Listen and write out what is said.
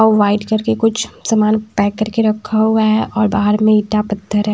White कर के कुछ सामान पैक करके रखा हुआ है और बहार में ईटा पत्त्थर है।